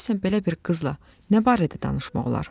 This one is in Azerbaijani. Görəsən belə bir qızla nə barədə danışmaq olar?